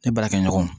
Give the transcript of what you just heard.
E baarakɛɲɔgɔn